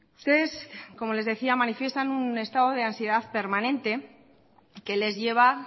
ustedes como les decía manifiestan un estado de ansiedad permanente que les lleva